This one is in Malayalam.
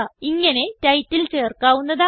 ഇങ്ങനെ ടൈറ്റിൽ ചേർക്കാവുന്നതാണ്